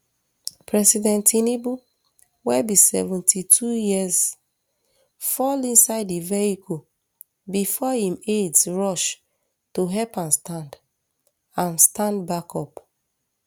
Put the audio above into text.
president tinubu wey be seventy-two years fall inside di vehicle bifor im aides rush to help am stand am stand back up